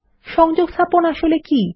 সংযোগস্থাপন আসলে কি